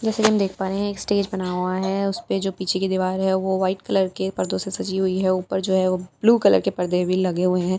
जैसा की हम देख पा रहे हैं एक स्टेज बना हुआ है उस पे जो पीछे की दीवार है वह व्हाइट कलर के परदों से सजी हुई है ऊपर जो है ब्लू कलर के भी परदे भी लगे हुए हैं ।